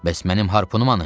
Bəs mənim harpunum hanı?